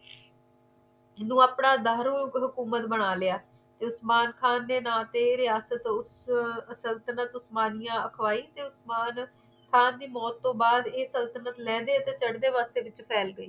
ਜੇਨੂੰ ਆਪਣਾ ਦਾਰੂ ਹੁਕਮਤ ਬਣਾ ਲਿਆ ਉਸਮਾਨ ਖਾਨ ਦੇ ਨਾਮ ਤੇ ਰਿਹਾਸਤ ਸੰਤੁਲਨ ਉਸਮਾਨੀਆ ਕਵਾਈ ਉਸਮਾਨ ਖਾਨ ਦੀ ਮੌਤ ਤੋਂ ਬਾਅਦ ਏ ਸੰਤੁਲਨ ਲੈਂਦੇ ਤੇ ਚੜਦੇ ਵਾਸਤੇ ਵਿੱਚ ਫੈਲ ਗਈ